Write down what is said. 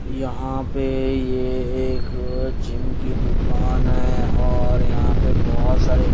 यहां पे ये एक जिम की दुकान है और यहां पे बहोत सारे--